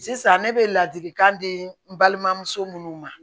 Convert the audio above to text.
Sisan ne bɛ ladilikan di n balimamuso minnu ma